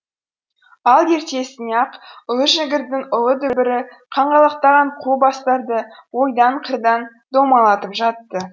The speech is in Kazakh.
ал ертесіне ақ ұлы жіңгірдің ұлы дүбірі қаңғалақтаған қу бастарды ойдан қырдан домалатып жатты